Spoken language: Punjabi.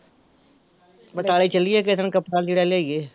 ਬਟਾਲੇ ਚੱਲੀਏ ਕਿਸੇ ਦਿਨ ਕੱਪੜਾ ਲੀੜਾ ਲਿਆਈਏ